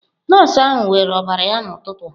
Nọọsụ ahụ weere ọbara ya n'ụtụtụ a.